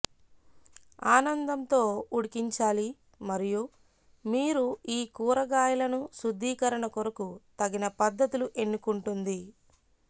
ఆనందం తో ఉడికించాలి మరియు మీరు ఈ కూరగాయలను శుద్దీకరణ కొరకు తగిన పద్ధతులు ఎన్నుకుంటుంది